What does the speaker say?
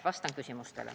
Vastan küsimustele.